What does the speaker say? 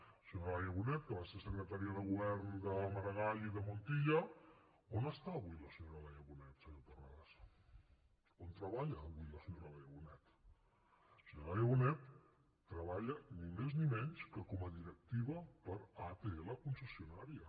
la senyora laia bonet que va ser secretària de govern de maragall i de montilla on està avui la senyora laia bonet senyor terrades on treballa avui la senyora laia bonet la senyora laia bonet treballa ni més ni menys que com a directiva per a atll concessionària